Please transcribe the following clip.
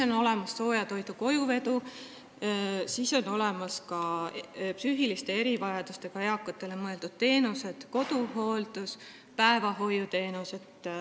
On olemas sooja toidu kojuvedu ja on teenused psüühiliste erivajadustega eakatele: koduhooldus, päevahoiuteenused.